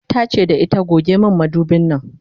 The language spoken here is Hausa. tace da ita"goge min madubin Nan!"